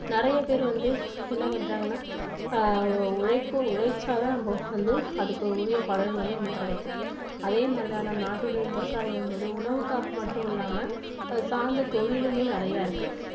நிறைய பேர் வந்து என்ன பண்றாங்கன்னா ஆஹ் உழைப்பு உழைச்சாதான் நமக்கு வந்து அதுக்கு உரிய பலன் வந்து நமக்கு கிடைக்கும். அதே மாதிரிதான் நம்ம நாட்டுடைய விவசாயம் என்பது உணவுக்காக மட்டும் இல்லாம அது சார்ந்த தொழிலுமே நிறைய இருக்கு.